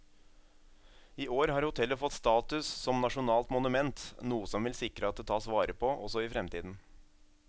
I år har hotellet fått status som nasjonalt monument, noe som vil sikre at det tas vare på også i fremtiden.